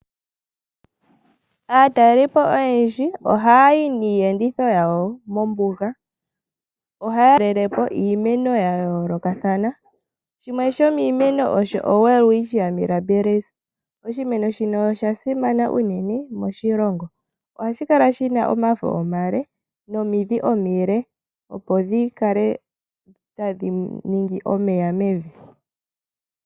Aataleliipo oyendji ohaya yi niiyenditho yawo mombuga. Ohaya talele po iimeno yayoolokathana shimwe shomiimeno Osho owelwitschia mirabilis. Oshimeno shino osha simana unene moshilongo, ohashi kala shina omafo omale nomidhi omile opo dhikale tadhi ningi omeya mevi.